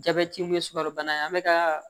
Jabɛti mun ye sukarobana ye an bɛ ka